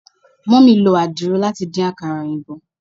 Mummy lo adiro lati din akara oyinbo